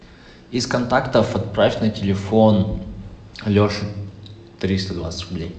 из контактов отправь на телефон леши триста двадцать рублей